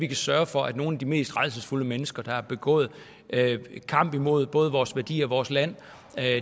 vi kan sørge for at nogle af de mest rædselsfulde mennesker der har været i kamp imod både vores værdier og vores land